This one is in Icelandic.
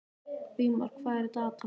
Vígmar, hvað er á dagatalinu í dag?